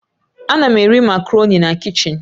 Ana m eri macaroni na kichin